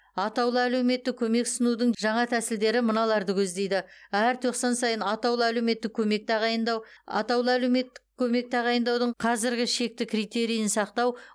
атаулы әлеуметтік көмек ұсынудың жаңа тәсілдері мыналарды көздейді әр тоқсан сайын атаулы әлеуметтік көмек тағайындау атаулы әлеуметтік көмек тағайындаудың қазіргі шекті критериін сақтау